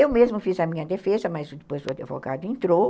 Eu mesma fiz a minha defesa, mas depois o advogado entrou.